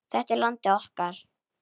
Þetta er landið okkar.